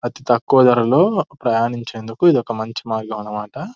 అతి తక్కువ ధరలూ ప్రయాణించేందుకు ఇది ఒక మంచి మార్గం అన్నమాట.